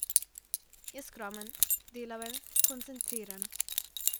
Je skromen, delaven, skoncentriran...